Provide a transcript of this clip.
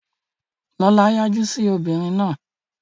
Lọlá yájú sí obìnrin náà.